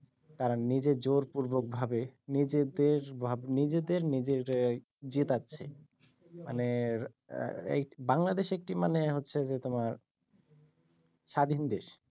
তারা নিজে জোর পূর্বকভাবে নিজেদের ভাব~নিজেদের নিজেরে জিতাচ্ছে মানে এর বাংলাদেশ একটি মানে হচ্ছে যে তোমার স্বাধীন দেশ